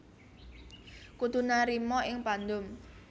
Kudu narima ing pandum